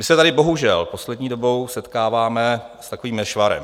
My se tady bohužel poslední dobou setkáváme s takovým nešvarem.